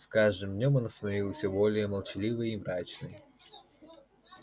с каждым днём она становилась все более молчаливой и мрачной